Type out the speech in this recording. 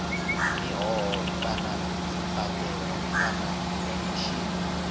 mihoho kana dzimbadelo kana khomishini